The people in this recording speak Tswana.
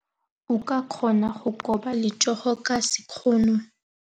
O ka kgona go koba letsogo ka sekgono.